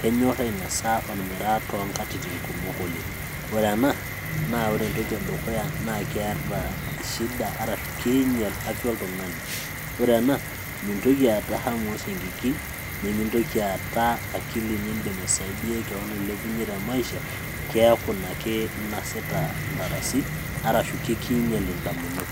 kenyorr ainasa ormiraa toonkatitin kumok oleng ore ena naa ore entoki edukuya naa keeta shida arashu kiinyial afya oltung'ani, ore ena mintoki aata hamu oosiankikin nimintoki aata akili niindim aisaidiay kewon ailepunyie te maisha keeku ina ake inasita intarasi arashu kikiinyial indamunot.